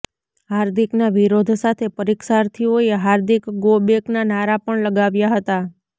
હાર્દિકના વિરોધ સાથે પરીક્ષાર્થીઓએ હાર્દિક ગો બેકના નારા પણ લગાવ્યા હતા